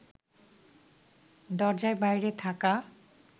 দরজার বাইরে থাকা